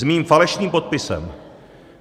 S mým falešným podpisem.